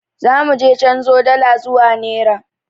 Za muje canzo dala zuwa nera.